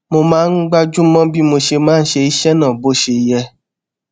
mo máa ń gbájú mó bí mo ṣe máa ṣe iṣé náà bó ṣe yẹ